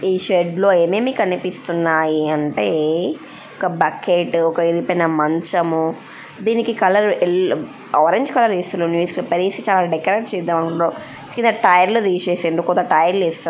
ఈ షెడ్ లో ఏమేమి కనిపిస్తున్నాయి అంటే ఒక బకెట్ ఒక విరిగిపోయిన మంచము. దీనికి కలర్ ఎల్లో ఆరెంజ్ కలర్ ఏస్తుండ్రు న్యూస్ పేపర్ వేసి చాలా డెకరేట్ చేద్దామనుకున్నారు. కింద టైర్లు తీసేసిండ్రు. కొత్త టైర్లు వేస్తారు.